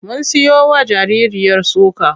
Mun siyowa jaririyar soka.